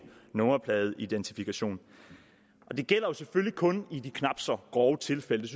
nummerpladeidentifikation det gælder selvfølgelig kun i de knap så grove tilfælde